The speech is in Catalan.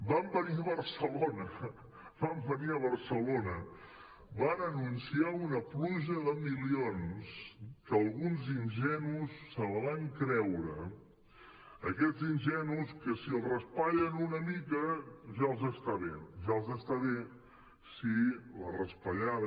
van venir a barcelona van venir a barcelona van anunciar una pluja de milions que alguns ingenus se la van creure aquests ingenus que si els raspallen una mica ja els està bé ja els està bé si la raspallada